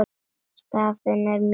Staðan er mjög fín.